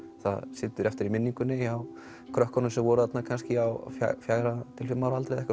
það situr eftir í minningunni hjá krökkunum sem voru þarna kannski á fjögurra til fimm ára aldri